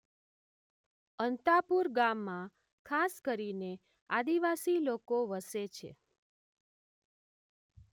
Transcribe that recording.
અંતાપુર ગામમાં ખાસ કરીને આદિવાસી લોકો વસે છે.